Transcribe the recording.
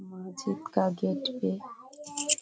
मस्जिद का गेट पे --